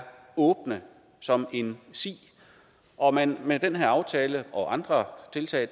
åbne som en si og man med den her aftale og andre tiltag